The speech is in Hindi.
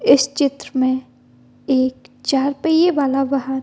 इस चित्र में एक चार पहिये वाला वाहन --